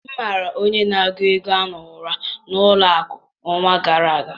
M mara onye na-agụ ego ahụ ụra n'ụlọ akụ n'ọnwa gara aga